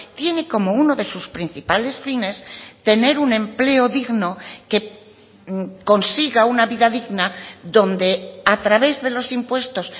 tiene como uno de sus principales fines tener un empleo digno que consiga una vida digna donde a través de los impuestos